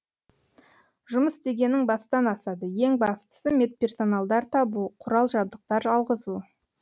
жұмыс дегенің бастан асады ең бастысы медперсоналдар табу құрал жабдықтар алғызу